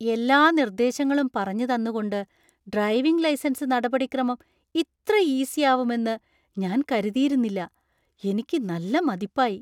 എല്ലാ നിർദ്ദേശങ്ങളും പറഞ്ഞു തന്നുകൊണ്ട് ഡ്രൈവിംഗ് ലൈസൻസ് നടപടിക്രമം ഇത്ര ഈസി ആവുമെന്ന് ഞാൻ കരുതിയിരുന്നില്ല. എനിക്ക് നല്ല മതിപ്പായി!